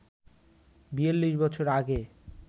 ৪২ বছর আগে